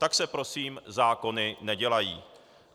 Tak se prosím zákony nedělají.